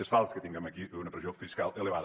és fals que tinguem aquí una pressió fiscal elevada